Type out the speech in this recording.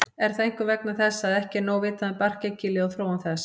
Er það einkum vegna þess að ekki er nóg vitað um barkakýlið og þróun þess.